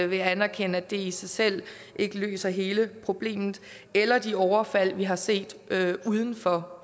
vil anerkende at det i sig selv ikke løser hele problemet eller de overfald vi har set uden for